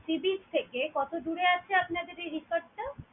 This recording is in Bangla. sea beach থেকে কতদূরে আছে আপনাদের এই resort টা?